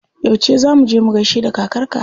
Yauce za muje mu gaishe da kakar ka?